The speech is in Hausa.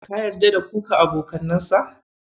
Ka yarda da kuka abokanansa?